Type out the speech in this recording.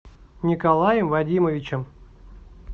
николаем вадимовичем